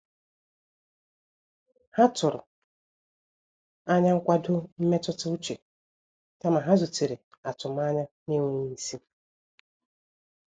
Ha tụrụ anya nkwado mmetụta uche kama ha zutere atụmanya na-enweghị isi.